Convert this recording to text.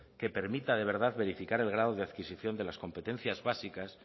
que permite de verdad verificar la grado de adquisición de las competencias básicas